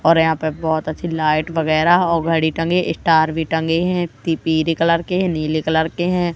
और यहां पर बहुत अच्छी लाइट वगैरह हो घड़ी टांगे स्टार भी टंगे हैं जो पिली कलर के नीले कलर के हैं।